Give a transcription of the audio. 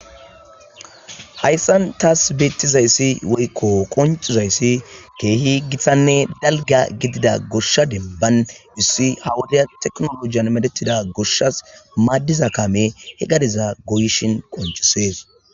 hayssan taas beettizayssi woykko qoncizayssi keehi githanne dalga gidida goshsha demban issi hawodea teknolojiyan medetida goshshas maaddiza kame he gadiza goyishin qoncisees